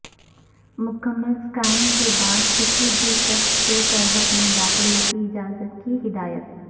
مکمل اسکیاننگ کے بعدکسی بھی شخص کو سرحد میں داخلہ کی اجازت کی ہدایت